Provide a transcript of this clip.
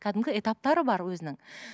кәдімгі этаптары бар өзінің